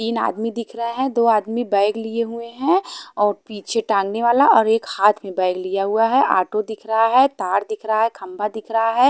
तीन आदमी दिख रहा है। दो आदमी बैग लिए हुए है और पीछे टाँगने वाला और एक हाथ में बैग लिया हुआ है ऑटो दिख रहा है तार दिख रहा है खंबा दिख रहा है।